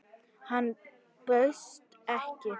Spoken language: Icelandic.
Hann bauðst ekki.